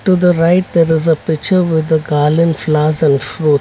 To the right there is a picture with the garland flowers and fruit.